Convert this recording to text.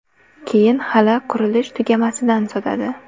Keyin hali qurilish tugamasidan sotadi.